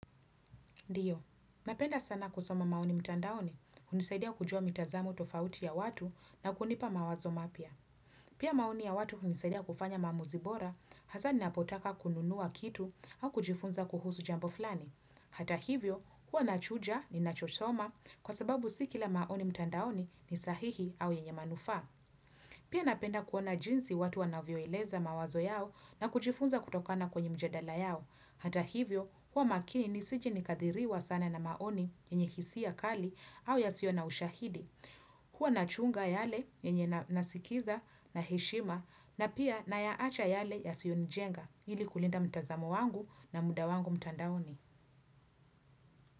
Ndiyo, napenda sana kusoma maoni mtandaoni, unisaidia kujua mitazamo tofauti ya watu na kunipa mawazo mapya. Pia maoni ya watu unisaidia kufanya maamuzi bora, hasani napotaka kununua kitu au kujifunza kuhusu jambo flani. Hata hivyo, huwa nachuja ni nachosoma kwa sababu sikila maoni mtandaoni ni sahihi au yenye manufaa. Pia napenda kuona jinsi watu wanavyoeleza mawazo yao na kujifunza kutokana kwenye mjadala yao. Hata hivyo, kuwa makini ni sije nikadhiriwa sana na maoni yenye hisia kali au ya siyo na ushahidi. Huwa na chunga yale yenye nasikiza na heshima na pia na yaacha yale ya sionijenga ili kulinda mtazamo wangu na muda wangu mtandaoni.